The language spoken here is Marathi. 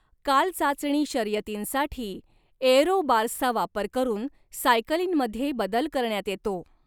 कालचाचणी शर्यतींसाठी एअरो बार्सचा वापर करून सायकलींमध्ये बदल करण्यात येतो.